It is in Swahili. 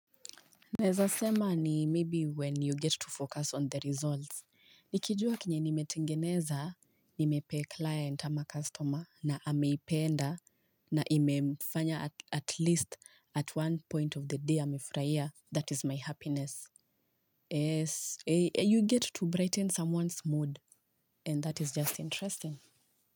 Naeza sema ni maybe when you get to focus on the results, nikijua kenye nimetengeneza, imepay client ama customer na ameipenda na imemfanya at least at one point of the day amefurahia that is my happiness. Yes, you get to brighten someone's mood and that is just interesting.